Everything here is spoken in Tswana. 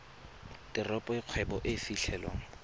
teropo e kgwebo e fitlhelwang